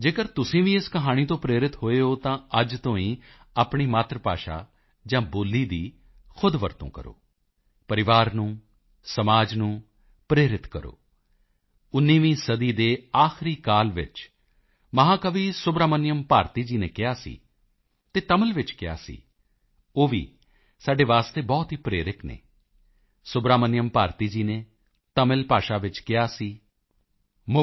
ਜੇਕਰ ਤੁਸੀਂ ਵੀ ਇਸ ਕਹਾਣੀ ਤੋਂ ਪ੍ਰੇਰਿਤ ਹੋਏ ਹੋ ਤਾਂ ਅੱਜ ਤੋਂ ਹੀ ਆਪਣੀ ਮਾਤਰ ਭਾਸ਼ਾ ਜਾਂ ਬੋਲੀ ਦੀ ਖੁਦ ਵਰਤੋਂ ਕਰੋ ਪਰਿਵਾਰ ਨੂੰ ਸਮਾਜ ਨੂੰ ਪ੍ਰੇਰਿਤ ਕਰੋ 19ਵੀਂ ਸਦੀ ਦੇ ਆਖਰੀ ਕਾਲ ਵਿੱਚ ਮਹਾਕਵੀ ਸੁਬਰਾਮਨਿਯਮ ਭਾਰਤੀ ਜੀ ਨੇ ਕਿਹਾ ਸੀ ਅਤੇ ਤਮਿਲ ਵਿੱਚ ਕਿਹਾ ਸੀ ਉਹ ਵੀ ਸਾਡੇ ਵਾਸਤੇ ਬਹੁਤ ਹੀ ਪ੍ਰੇਰਕ ਹਨ ਸੁਬਰਾਮਨਿਯਮ ਭਾਰਤੀ ਜੀ ਨੇ ਤਮਿਲ ਭਾਸ਼ਾ ਵਿੱਚ ਕਿਹਾ ਸੀ